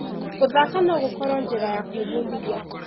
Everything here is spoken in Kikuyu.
Gũthaka no gũkorwo njĩra ya gwĩbundithia.